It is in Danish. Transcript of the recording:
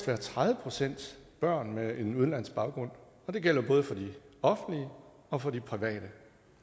være tredive procent børn med en udenlandsk baggrund og det gælder både for de offentlige og for de private